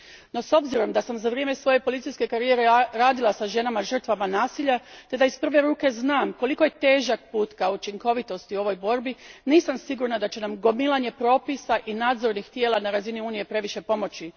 No, s obzirom na to da sam za vrijeme svoje policijske karijere radila sa ženama žrtvama nasilja te da iz prve ruke znam koliko je težak put ka učinkovitosti u ovoj borbi, nisam sigurna da će nam gomilanje propisa i nadzornih tijela na razini Unije previše pomoći.